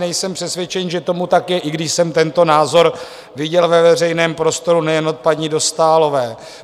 Nejsem přesvědčen, že tomu tak je, i když jsem tento názor viděl ve veřejném prostoru nejen od paní Dostálové.